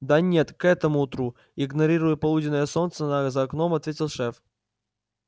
да нет к этому утру игнорируя полуденное солнце за окном ответил шеф